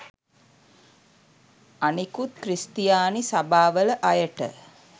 අනිකුත් ක්‍රිස්තියානි සබාවල අයට